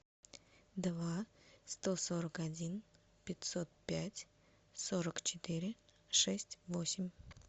два сто сорок один пятьсот пять сорок четыре шесть восемь